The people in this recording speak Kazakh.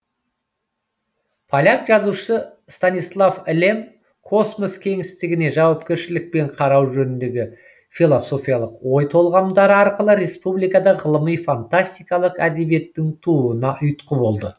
поляк жазушысы станислав лем космос кеңістігіне жауапкершілікпен қарау жөніндегі философиялық ой толғамдары арқылы республикада ғылыми фантастикалық әдебиеттің тууына ұйтқы болды